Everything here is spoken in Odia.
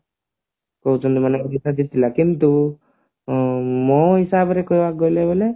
କହୁଛନ୍ତି ମାନେ ଓଡିଶା ଜିତିଲା କିନ୍ତୁ ମୋ ହିସାବରେ କହିବାକୁ ଗଲେ